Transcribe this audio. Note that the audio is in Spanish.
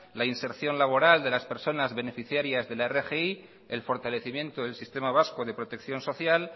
la inserción laboral de las personas beneficiarias de la rgi el fortalecimiento del sistema vasco de protección social